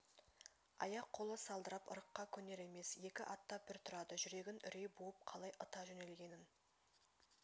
аяқ-қолы салдырап ырыққа көнер емес екі аттап бір тұрады жүрегін үрей буып қалай ыта жөнелгенін